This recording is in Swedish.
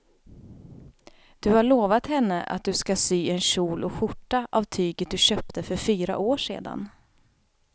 Du har lovat henne att du ska sy en kjol och skjorta av tyget du köpte för fyra år sedan.